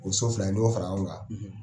O so fila in ni y'o fara ɲɔgɔnkan